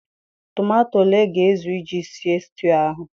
Tomato ole ga ezu iji sie stiu ahụ?